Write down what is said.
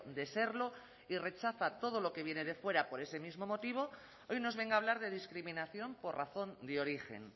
de serlo y rechaza todo lo que viene de fuera por ese mismo motivo hoy nos venga a hablar de discriminación por razón de origen